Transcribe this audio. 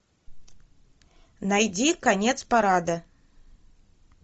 найди конец парада